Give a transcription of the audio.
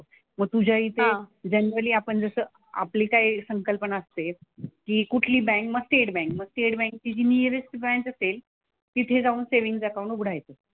मग तुझ्या इथे जनरली आपण जसं आपली काय संकल्पना असते की कुठली बँक मग स्टेट बँक. मग स्टेट बँकची निअरेस्ट ब्रांच असेल तिथे जाऊन सेव्हिन्ग अकाउंट उघडायचं.